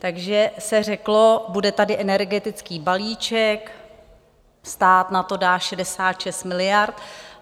Takže se řeklo, bude tady energetický balíček, stát na to dá 66 miliard.